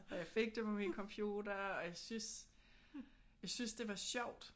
Og jeg fik det på min computer og jeg synes jeg synes det var sjovt